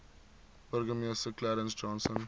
burgemeester clarence johnson